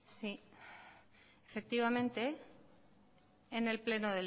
sí efectivamente en el pleno